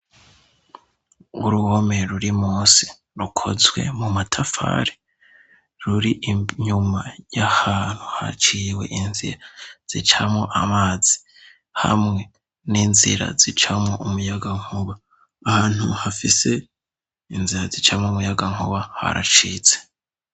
Uruhome ruri munsi rukozwe mu matafari. Ruri inyuma y'ahantu haciwe inzira zicamwo amazi, hamwe n'inzira zicamwo umuyagankuba . Ahantu hafise inzira zicamwo umuyagankuba haracitse,